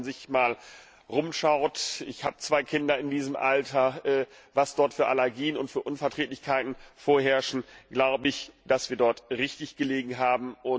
Wenn man sich mal umschaut ich habe zwei Kinder in diesem Alter was dort für Allergien und Unverträglichkeiten vorherrschen, so glaube ich, dass wir dort richtig gelegen haben.